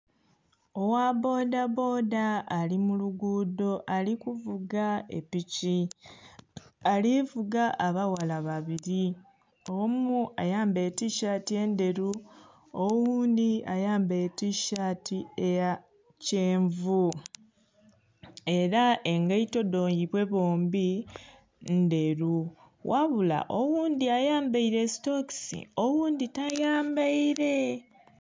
Ogha bbodha bbodha alimulugudho alikuvuga epiki, alivuga abaghala babiri omu ayambeire tishaati endheru oghundhi ayambeire tishaati eya kyenvu era egeito dhaibwe bombi ndheru, ghabula oghundhi ayambeire sitokisi oghundhi tayambeire.